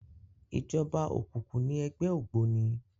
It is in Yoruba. Ijòba ókúkú ni ègbè ógbóni